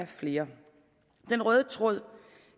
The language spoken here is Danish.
flere den røde tråd